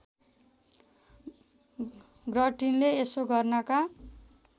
गर्टिनले यसो गर्नका